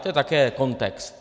To je také kontext.